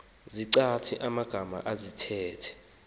izichazi magama zesithethe